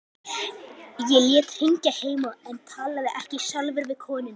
Ég lét hringja heim en talaði ekki sjálfur við konuna.